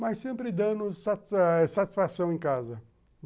Mas sempre dando satisfação em casa.